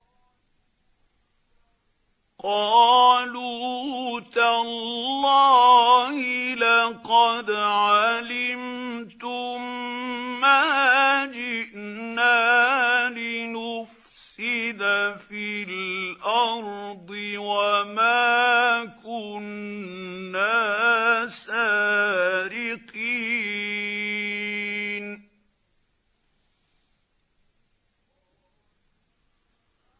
قَالُوا تَاللَّهِ لَقَدْ عَلِمْتُم مَّا جِئْنَا لِنُفْسِدَ فِي الْأَرْضِ وَمَا كُنَّا سَارِقِينَ